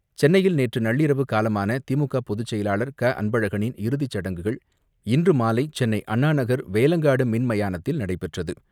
சென்னையில் நேற்று நள்ளிரவு காலமான திமுக பொதுச்செயலாளர் அன்பழகனின் இறுதிச் சடங்குகள் இன்று மாலை சென்னை அண்ணாநகர் வேலங்காடு மின்மயானத்தில் நடைபெற்றது.